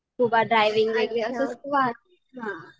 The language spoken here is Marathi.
scuba diving